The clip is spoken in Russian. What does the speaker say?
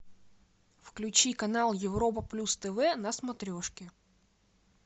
включи канал европа плюс тв на смотрешке